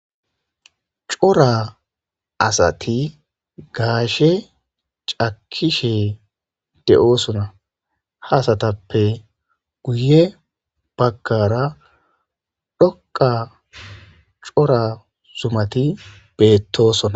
Cora asati gashshe cakishshe de'osona haa asatappe guye bagara dhoqqa cora zumati betosona.